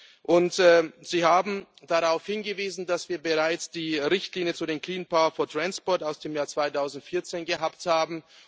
2015. Sie haben darauf hingewiesen, dass wir bereits die Richtlinie zu Clean power for transport aus dem Jahr 2014 gehabt haben.